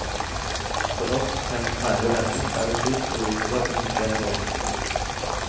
For oss, hennes nære venner, er det trist og uvirkelig at hun ikke er blant oss mer.